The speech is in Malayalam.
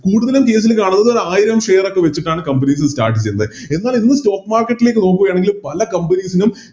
കൂടുതലും Stage ല് കാണുന്നത് ആയിരം Share ഒക്കെ വെച്ചിട്ടാണ് Company കള് Start ചെയ്യുന്നത് എന്നാൽ ഇന്ന് Stock market ലേക്ക് നോക്കുകയാണെങ്കില് പല Companies നും